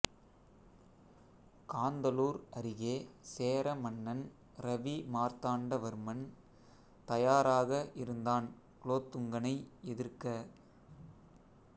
காந்தளூர் அருகே சேர மன்னன் ரவி மார்த்தாண்ட வர்மன் தயாராக இருந்தான் குலோத்துங்கனை எதிர்க்க